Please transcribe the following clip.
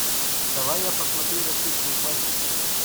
давай я посмотрю российскую классику